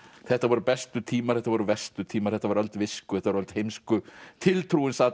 þetta voru bestu tímar þetta voru verstu tímar þetta var öld visku þetta var öld heimsku tiltrúin sat